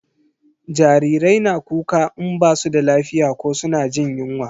Jarirai na kuka in ba su da lafiya ko suna jin yunwa